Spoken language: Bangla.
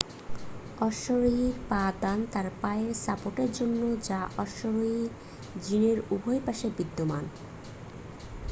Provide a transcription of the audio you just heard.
অশ্বরোহীর পা-দান তার পায়ের সাপোর্টের জন্য যা অশ্বরোহীর জিনের উভয় পাশে বিদ্যমান